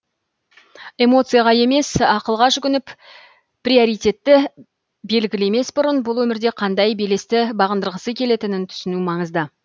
эмоцияға емес ақылға жүгініп приоритетті белгілемес бұрын бұл өмірде қандай белесті бағындырғысы келетінін түсіну маңызды